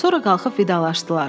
Sonra qalxıb vidalaşdılar.